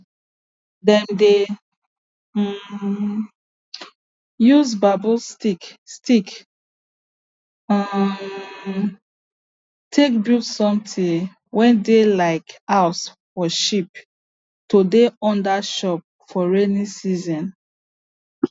dem dey um use bamboo stick stick um take build something wey dey like house for sheep to dey under chop for raining season